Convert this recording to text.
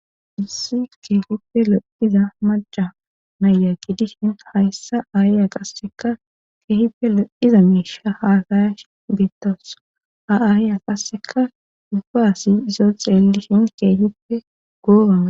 issi kehipe lo'iza malca mayaqi dishin hayssa aayiya qasseka keehipelo iza meisha haasayash beettosa a7aayyya qasseka dubbaasi isoo xeellishin keehippe goobana